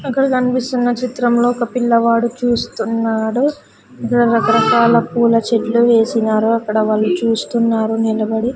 అక్కడ కనిపిస్తున్న చిత్రంలో ఒక పిల్లవాడు చూస్తున్నాడు రకరకాల పూల చెట్లు వేసినారు అక్కడ వాళ్ళు చూస్తున్నారు నిలబడి.